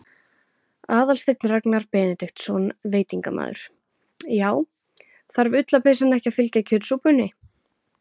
Aðalsteinn Ragnar Benediktsson, veitingamaður: Já, þarf ullarpeysan ekki að fylgja kjötsúpunni?